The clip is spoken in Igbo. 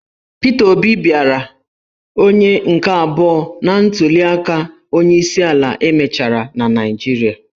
Pita Obi bịara onye nke abụọ na ntuliaka onyeisiala e mechara na Naịjirịa.